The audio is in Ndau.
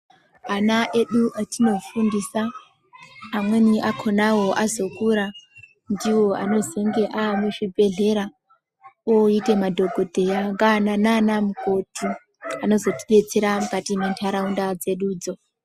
Ana edu etinofundisa amweni akhonawo azokura ndivo anozonge avemuzvibhedhlera oitemadhokodheya nana mukokoti anozotidetsera mukati mwentarawunda dzedudzo.